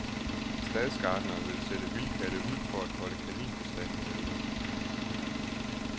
Stadsgartneren vil sætte vildkatte ud for at holde kaninbestanden nede.